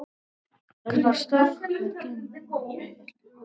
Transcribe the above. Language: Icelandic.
Krist að okkar tímatali.